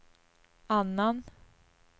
annan